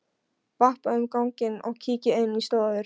Vappa um ganginn og kíki inn í stofur.